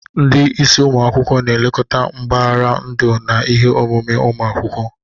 Ndị isi ụmụ akwụkwọ na-elekọta mbaghara ndu na ihe omume ụmụ akwụkwọ.